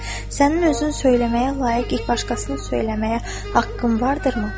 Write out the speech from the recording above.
Fəxrəddin, sənin özünü söyməyə layiq başqasını söyməyə haqqın vardırımı?